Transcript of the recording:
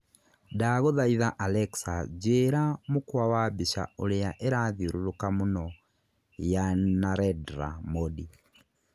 Ndagũthaitha Alexa njĩĩra mũkwa wa mbica ũrĩa ĩrathiũrũrũka mũno ya Narendra Modi